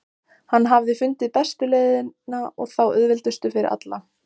Hann hafði fundið bestu leiðina og þá auðveldustu fyrir alla.